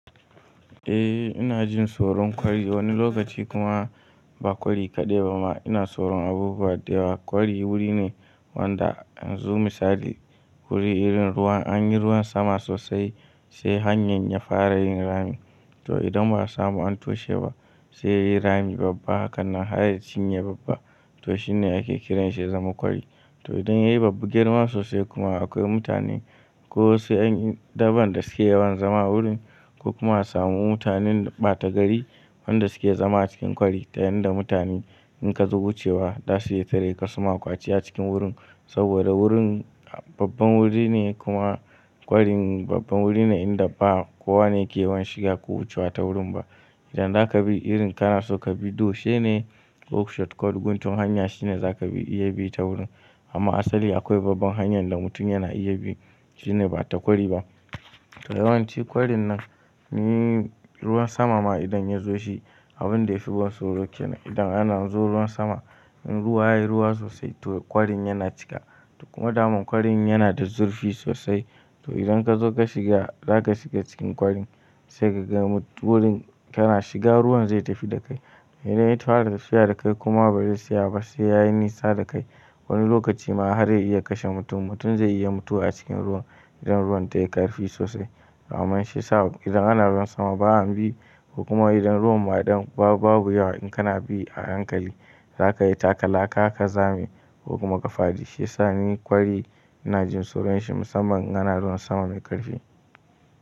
Eh ina jin tsoron ƙwari wani lokaci kuma ba kwari kaɗai ba ma ina tsoron abubuwa da yawa kwari wuri ne wanda in zo misali wuri irin ruwan an yi ruwan sama sosai sai hanyar ya fara yin rami to idan ba a samu an toshe ba sai yayi rami babba hakanan har ya cinye babba to shine ake kiranshi ya zama kwari. To idan yayi babba girma sosai kuma akwai mutane ko wasu ƴan daban da suke yawan zama a wurin ko kuma samu mutanen ɓata gari wanda suke zama a cikin kwari ta yanda mutane in ka zo wucewa da su ya tare ka suma ƙwace a cikin wurin saboda wurin babban wuri ne kuma kwarin babban wuri ne inda ba kowa ne ke yawan shiga ko wucewa ta wurin ba. Idan zaka bi irin kana so ka bi dushe ne ko shortcut guntun hanya shine zaka iya bi ta wurin amma asali akwai babban hanyar da mutum yana iya bi shine ba ta kwari ba. To yawanci kwarin nan ni ruwan sama ma idan ya zo shi abun da ya fi ban tsoro yake idan ana zuwa ruwan sama in ruwa yayi ruwa sosai to kwarin yana cika to kuma daman kwarin yana da zurfi sosai to idan ka zo ka shiga zaka shiga cikin kwarin sai ka ga wurin kana shiga ruwan zai tafi da kai. Idan ya fara tafiya da kai kuma ba zai tsaya ba sai yayi nisa da kai wani lokaci ma har ya iya kashe mutum mutum zai iya mutuwa a cikin ruwan idan ruwan tayi ƙarfi sosai. Amman shiyasa idan ana ruwan sama ba an bi ko kuma idan ruwan ba ɗan babu yawa in kana bi a hankali zaka yi taka laka ka zame ko kuma ka fadi shi yasa ni kwari ina jin tsoron shi musamman in ana ruwan sama mai ƙarfi.